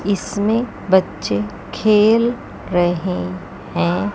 इसमें बच्चे खेल रहे हैं।